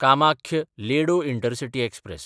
कामाख्य–लेडो intercity express